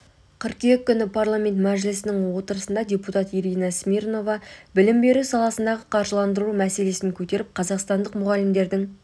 қыркүйек күні парламент мәжілісінің отырысында депутат ирина смирнова білім беру саласындағы қаржыландыру мәселесін көтеріп қазақстандық мұғалімдердің